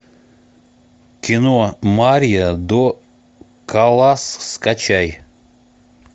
кино мария до каллас скачай